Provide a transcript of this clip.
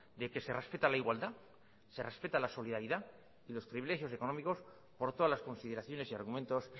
de que se respeta la igualdad se respeta la solidaridad y los privilegios económicos por todas las consideraciones y argumentos